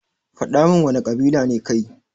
Fadamin wana kabila ne kai.